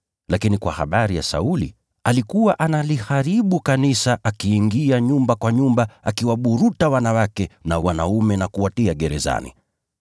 Lakini kwa habari ya Sauli alikuwa analiharibu kanisa, akiingia nyumba kwa nyumba, akiwaburuta wanawake na wanaume na kuwatupa gerezani.